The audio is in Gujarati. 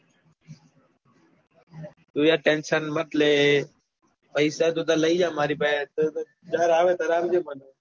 તું યાર tension મત લે પૈસા તું તાર લઇ જા મારી પાસે થી જયારે આવે ત્યારે આપજે મને.